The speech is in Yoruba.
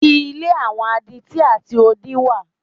Ilé àwọn adití àti odí wà.